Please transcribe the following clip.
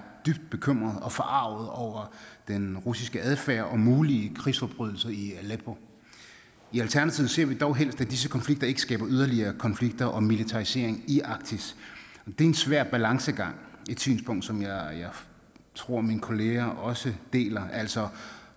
dybt bekymret og forarget over den russiske adfærd og mulige krigsforbrydelser i aleppo i alternativet ser vi dog helst at disse konflikter ikke skaber yderligere konflikter og militarisering i arktis det er en svær balancegang et synspunkt som jeg tror mine kolleger også deler altså